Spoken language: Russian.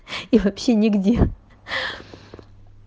и вообще нигде